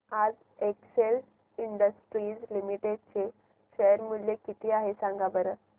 आज Excel Industries Limited चे share चे मूल्य किती आहे सांगा बरं